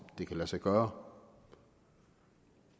det kan lade sig gøre